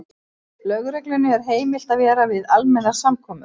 Lögreglunni er heimilt að vera við almennar samkomur.